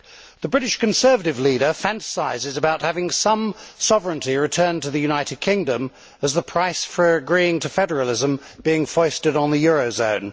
The British Conservative leader fantasises about having some sovereignty returned to the United Kingdom as the price for agreeing to federalism being foisted on the euro zone.